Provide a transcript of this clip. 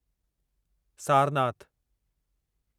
Sarnath